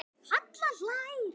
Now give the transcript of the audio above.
Halla hlær.